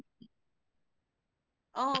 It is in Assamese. অহ